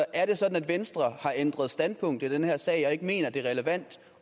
er det sådan at venstre har ændret standpunkt i den her sag og ikke mener det er relevant